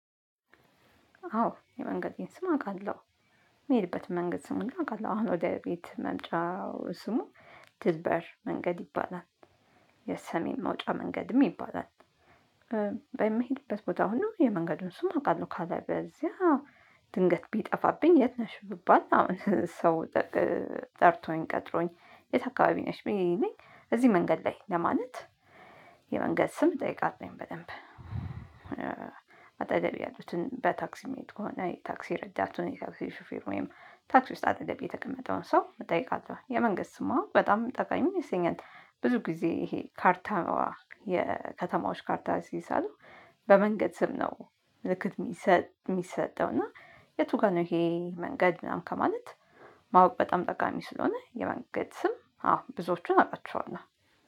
አዎ የመንገዴን ስም አውቃለሁ። የምሄድበት መንገድ ስም አውቃለሁ። አሁን ወደ ቤት መምጫው ስሙ ትድበር መንገድ ይባላል። የሰሜን መውጫ መንገድም ይባላል። በሚሄድበት ቦታ ሁሉ የመንገዱን ስም አውቃለሁ። ካለ በለዚያ ድንገት ቢጠፋብኝ የት ነሽ ብባል አሁን ሰው ጠርቶኝ ቀጥሮኝ የት አካባቢ ነሽ ቢለኝ እዚህ መንገድ ላይ ለማለት የመንገድ ስም እጠይቃለሁኝ በደንብ። አጠቀቤ ያሉትን በታክሲ ምሄድ ከሆነ የታክሲ ረዳቱን የታክሲ ሹፌር ወይም ታክሲ ውስጥ አጠገቤ የተቀመጠውን ሰው እጠይቃለሁ። የመንገድ ስም ማወቅ በጣም ጠቃሚ ይመስለኛል። ብዙ ጊዜ ይሄ ካርታ የከተማዎች ካርታ ሲሳሉ በመንገድ ስም ነው ምልክት የሚሰጠው እና የቱ ጋር ነው ይሄ መንገድ ምናምን ከማለት ማወቅ በጣም ጠቃሚ ስለሆነ የመንገድ ስም አዎ ብዙዎቹን አቃቸዋለሁ።